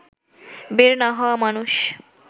বের না হওয়া মানুষ